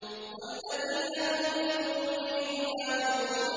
وَالَّذِينَ هُمْ لِفُرُوجِهِمْ حَافِظُونَ